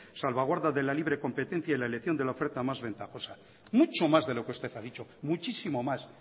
salvaguarda de la libre competencia en la elección de la oferta más ventajosa mucho más de lo que usted ha dicho muchísimo más